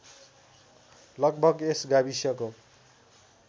लगभग यस गाविसको